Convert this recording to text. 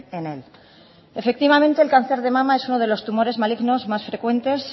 en él efectivamente el cáncer de mama es uno de los tumores malignos más frecuentes